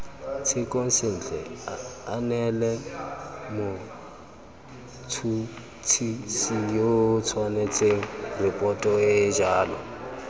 tshekong sentle aneelemots huts hisiyootshwanetsengripotoeejalo